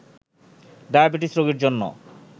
diabetes রোগীর জন্য